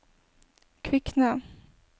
Kvikne